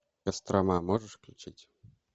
кострома можешь включить